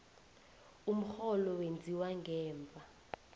umrholo wenziwa ngemva